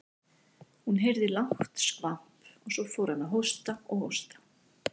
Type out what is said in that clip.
Hún heyrði lágt skvamp og svo fór hann að hósta og hósta.